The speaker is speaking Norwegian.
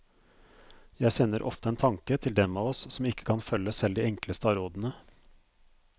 Jeg sender ofte en tanke til dem av oss som ikke kan følge selv de enkleste av rådene.